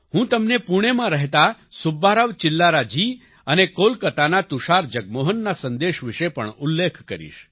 હું તમને પૂણેમાં રહેતા સુબ્બારાવ ચિલ્લારા જી અને કોલકાતાના તુષાર જગમોહન ના સંદેશ વિશે પણ ઉલ્લેખ કરીશ